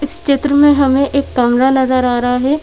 इस चित्र में हमें एक कमरा नजर आ रहा है।